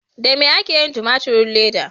Da me ake yin tumaturin leda?